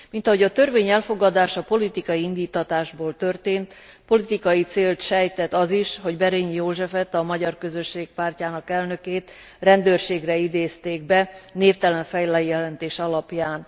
Mint ahogy a törvény elfogadása politikai indíttatásból történt, politikai célt sejtet az is, hogy Berényi Józsefet, a magyar közösség pártjának elnökét, rendőrségre idézték be névtelen feljelentés alapján.